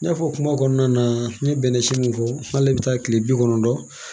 N y'a fɔ kuma kɔnɔna na n ye bɛnɛ si mun fɔ n'ale bɛ taa kile bi kɔnɔntɔn